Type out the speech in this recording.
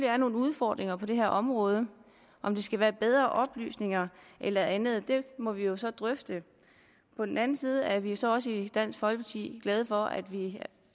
er nogle udfordringer på det her område om det skal være bedre oplysning eller andet må vi jo så drøfte på den anden side er vi så også i dansk folkeparti glade for at vi